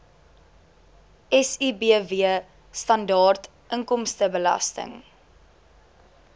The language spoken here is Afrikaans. sibw standaard inkomstebelasting